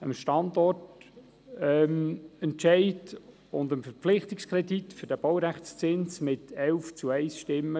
mit 11 Stimmen, 1 Gegenstimme und 3 Enthaltungen, dem Standortentscheid und dem Verpflichtungskredit für den Baurechtszins zuzustimmen.